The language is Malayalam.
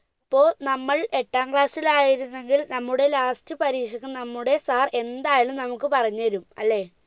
ഇപ്പോൾ നമ്മൾ എട്ടാം class ഇത് ആയിരുന്നെങ്കിൽ നമ്മുടെ last പരീക്ഷക്ക് നമ്മുടെ sir എന്തായാലും നമുക്ക് പറഞ്ഞു തരും അല്ലെ